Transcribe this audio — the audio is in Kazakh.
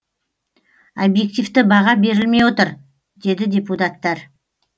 объективті баға берілмей отыр деді депутаттар